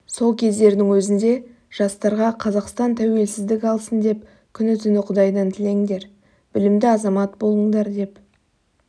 сол кездердің өзінде жастарға қазақстан тәуелсіздік алсын деп күні-түні құдайдан тілеңдер білімді азамат болыңдар деп